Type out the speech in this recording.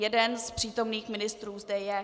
Jeden z přítomných ministrů zde je.